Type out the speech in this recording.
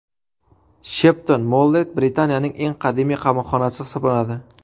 Shepton-Mollet Britaniyaning eng qadimiy qamoqxonasi hisoblanadi.